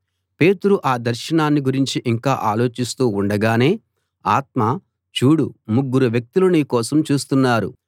పేతురు ఆ దర్శనాన్ని గురించి ఇంకా ఆలోచిస్తూ ఉండగానే ఆత్మ చూడు ముగ్గురు వ్యక్తులు నీ కోసం చూస్తున్నారు